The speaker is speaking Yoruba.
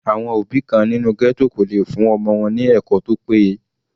Àwọn òbí kan nínú ghetto kò lè fún ọmọ wọn ní ẹ̀kọ́ tó péye.